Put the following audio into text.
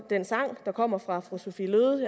den sang der kommer fra fru sophie løhde